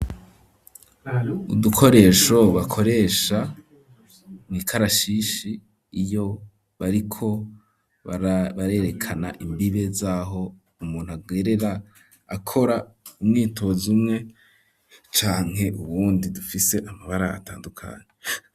Udukoresho bakoresha mw’ikarashishi iyo bariko barerekana imbibe zaho umuntu agerera akora umwitozo umwe canke uwundi dufise amabara atandukanye.